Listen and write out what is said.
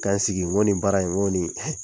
Ka n sigi ko nin baara in ko nin